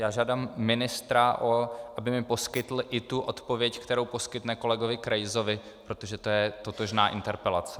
Já žádám ministra, aby mi poskytl i tu odpověď, kterou poskytne kolegovi Krejzovi, protože to je totožná interpelace.